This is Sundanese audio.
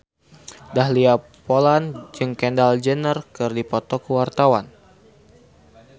Dahlia Poland jeung Kendall Jenner keur dipoto ku wartawan